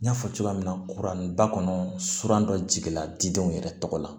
N y'a fɔ cogoya min na kuranba kɔnɔ suran dɔ jigila didenw yɛrɛ tɔgɔ la